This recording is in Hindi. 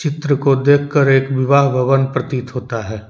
चित्र को देख कर एक विवाह भवन प्रतीत होता है।